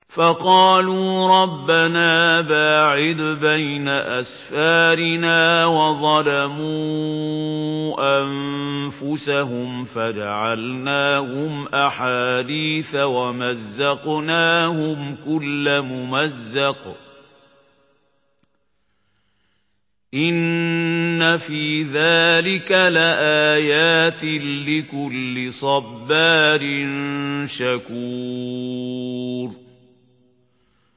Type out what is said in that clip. فَقَالُوا رَبَّنَا بَاعِدْ بَيْنَ أَسْفَارِنَا وَظَلَمُوا أَنفُسَهُمْ فَجَعَلْنَاهُمْ أَحَادِيثَ وَمَزَّقْنَاهُمْ كُلَّ مُمَزَّقٍ ۚ إِنَّ فِي ذَٰلِكَ لَآيَاتٍ لِّكُلِّ صَبَّارٍ شَكُورٍ